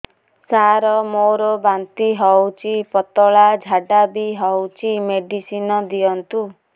ସାର ମୋର ବାନ୍ତି ହଉଚି ପତଲା ଝାଡା ବି ହଉଚି ମେଡିସିନ ଦିଅନ୍ତୁ